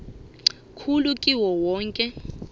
khulu kiwo woke